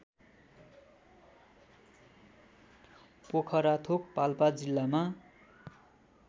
पोखराथोक पाल्पा जिल्लामा